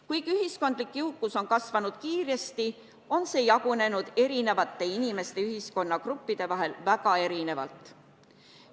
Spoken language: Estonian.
Kuigi ühiskondlik jõukus on kasvanud kiiresti, on see jagunenud inimeste ja eri ühiskonnagruppide vahel väga erinevalt.